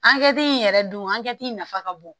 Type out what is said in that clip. Ankɛti in yɛrɛ dun ankɛti nafa ka bon